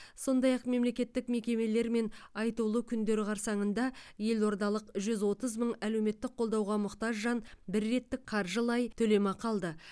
сондай ақ мемлекеттік мерекелер мен айтулы күндер қарсаңында елордалық жүз отыз мың әлеуметтік қолдауға мұқтаж жан бір реттік қаржылай төлемақы алды